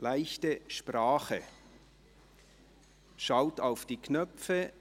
Leichte Sprache: Schaut auf die Knöpfe!